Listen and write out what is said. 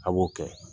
A b'o kɛ